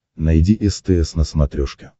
найди стс на смотрешке